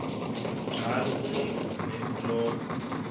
njalo unomvume kuloko